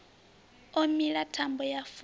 o mila thambo ya fula